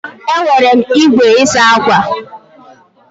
Enwere m igwe isa akwa.